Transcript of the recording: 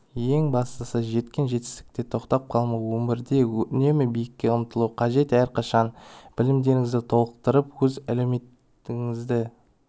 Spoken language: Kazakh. ең бастысы жеткен жетістікте тоқтап қалмау өмірде үнемі биікке ұмтылу қажет әрқашан білімдеріңізді толықтырып оз әлеуетіңізді